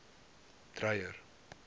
dreyer